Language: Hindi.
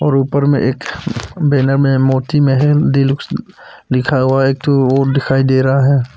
और ऊपर में एक बैनर में मोती महल डीलक्स लिखा हुआ एक ठो दिखाई दे रहा है।